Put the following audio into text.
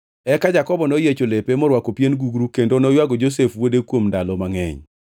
Eka Jakobo noyiecho lepe, morwako pien gugru kendo noywago Josef wuode kuom ndalo mangʼeny.